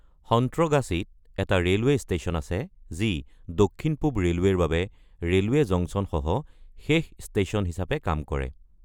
সন্ত্ৰগাছিত এটা railway station আছে যি দক্ষিণ-পূব ৰেলৱেৰ বাবে ৰেলৱে জংচন সহ শেষ ষ্টেচন হিচাপে কাম কৰে।